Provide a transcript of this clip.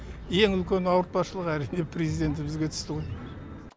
ең үлкен ауыртпашылық әрине президентімізге түсті ғой